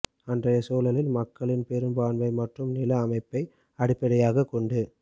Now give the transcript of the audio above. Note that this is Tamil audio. அன்றைய சூழலில் மக்களின் பெரும்பான்மை மற்றும் நில அமைப்பை அடிப்படையாகக் கொண்டு